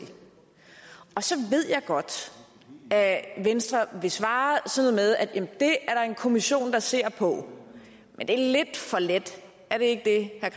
så ved jeg godt at venstre vil svare sådan noget med at det er der en kommission der ser på men det er lidt for let er det ikke det